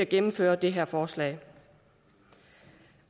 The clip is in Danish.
gennemføre det her forslag